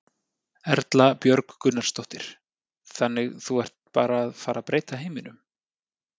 Erla Björg Gunnarsdóttir: Þannig þú ert bara að fara að breyta heiminum?